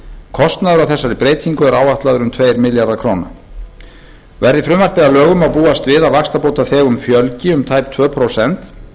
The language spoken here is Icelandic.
kostnaður af þessari breytingu er áætlaður um tveir milljarðar króna verði frumvarpið að lögum má búast við að vaxtabótaþegum fjölgi um tæp tvö prósent